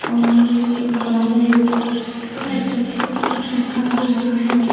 और एक बाहर एक कुछ लिखा हुआ है।